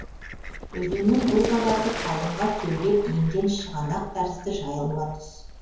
өзеннің бұл қабаты қалыңға кеулеп енген шығанақ тәрізді жайылма тұс